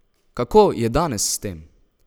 Kako je danes s tem?